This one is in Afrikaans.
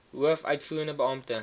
hoof uitvoerende beampte